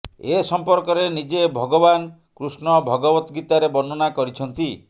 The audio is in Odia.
ଏ ସଂପର୍କରେ ନିଜେ ଭଗବାନ କୃଷ୍ଣ ଭଗବତ୍ ଗୀତାରେ ବର୍ଣ୍ଣନା କରିଛନ୍ତି